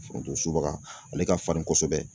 Foronto subaga ale ka farin kosɛbɛ